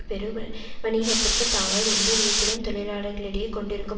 பெருவணிகத்திற்கு தாங்கள் எந்த விதத்திலும் தொழிலாளர்களிடையே கொண்டிருக்கும்